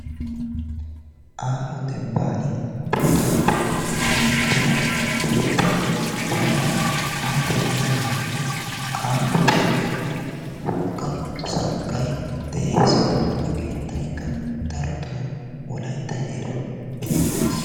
aaho dembaani buuxaappe keexettida keettay yaara haa xeeliyagan aaho pengeenne wogga sanqqay de'ees, buuxxa keetaykka darotoo wolaytta heeran beetees.